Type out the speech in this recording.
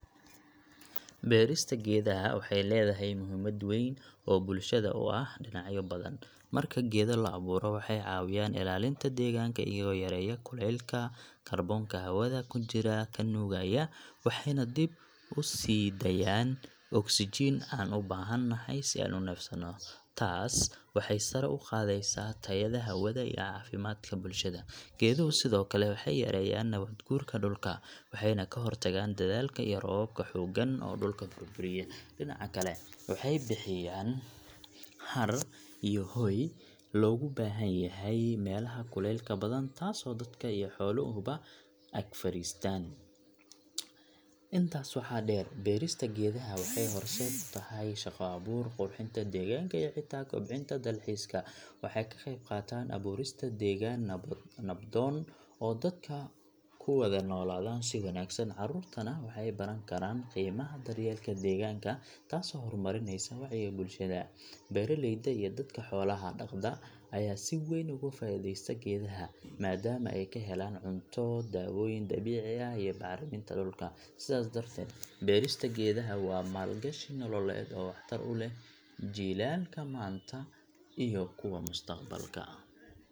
Beerista geedaha waxay leedahay muhiimad weyn oo bulshada u ah dhinacyo badan. Marka geedo la abuuro, waxay caawiyaan ilaalinta deegaanka iyagoo yareeya kuleylka, kaarboonka hawada ku jira ka nuugaya, waxayna dib u sii daayaan ogsajiin aan u baahan nahay si aan u neefsanno. Taas waxay sare u qaadaysaa tayada hawada iyo caafimaadka bulshada. Geeduhu sidoo kale waxay yareeyaan nabaad guurka dhulka, waxayna ka hortagaan daadadka iyo roobabka xooggan oo dhulka burburiya. Dhinaca kale, waxay bixiyaan hadh iyo hooy loogu baahan yahay meelaha kuleylka badan, taasoo dadka iyo xooluhuba ag fadhistaan. Intaas waxaa dheer, beerista geedaha waxay horseed u tahay shaqo abuur, qurxinta deegaanka iyo xitaa kobcinta dalxiiska. Waxay ka qayb qaataan abuurista deegaan nabdoon oo dadka ku wada noolaadaan si wanaagsan. Carruurtuna waxay baran karaan qiimaha daryeelka deegaanka, taasoo horumarinaysa wacyiga bulshada. Beeraleyda iyo dadka xoolaha dhaqda ayaa si weyn uga faa’iidaysta geedaha, maadaama ay ka helaan cunto, daawooyin dabiici ah iyo bacriminta dhulka. Sidaas darteed, beerista geedaha waa maalgashi nololeed oo waxtar u leh jiilalka maanta iyo kuwa mustaqbalka.